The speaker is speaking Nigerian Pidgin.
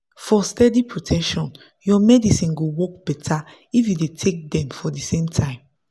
for steady protection your medicine go work better if you dey take them for the same time.